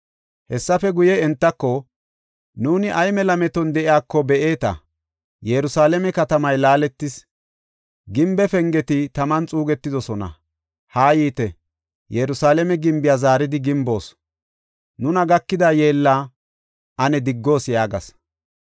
Hessefe guye, entako, “Nuuni ay mela meton de7iyako be7eeta; Yerusalaame katamay laaletis; gimbe pengeti taman xuugetidosona. Ha yiite, Yerusalaame gimbiya zaaridi gimboos; nuna gakida yeella ane diggoos” yaagas.